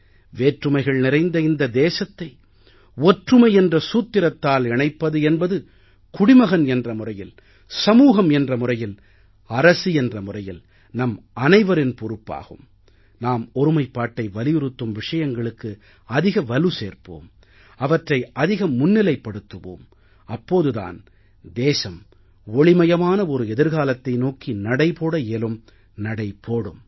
வேற்றுமைகள் நிறைந்த இந்த தேசத்தை ஒற்றுமை என்ற சூத்திரத்தால் இணைப்பது என்பது குடிமகன் என்ற முறையில் சமூகம் என்ற முறையில் அரசு என்ற முறையில் நம்மனைவரின் பொறுப்பாகும் நாம் ஒருமைப்பாட்டை வலியுறுத்தும் விஷயங்களுக்கு அதிக வலு சேர்ப்போம் அவற்றை அதிகம் முன்னிலைப்படுத்துவோம் அப்போது தான் தேசம் ஒளிமயமான ஒரு எதிர்காலத்தை நோக்கி நடை போட இயலும் நடை போடும்